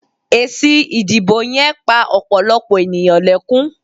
Èsì ìdìbò yen pa òpòlòpò ènìyàn lekun